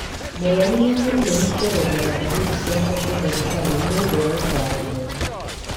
Mũrwaru nĩagĩrĩirwo nĩ kwerethera ndariri ciake kwĩ ndagĩtarĩ nĩũndũ wa ũtaro mwega